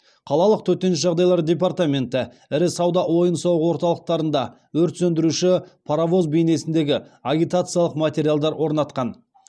қалалық төтенше жағдайлар департаменті ірі сауда ойын сауық орталықтарында өрт сөндіруші паровоз бейнесіндегі агитациялық материалдар орнатқан